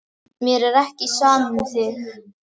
Mér er ekki sama um þig.